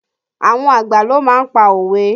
Àwọn àgbà ló má ń pa òwe